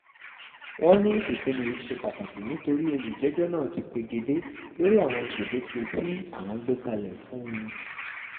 wọ́n ní ìpinnu yìí ṣe pàtàkì nítorí olùjẹ́jọ́ náà ti pegedé lórí àwọn gbèdéke tí àwọn gbé kalẹ̀ fún un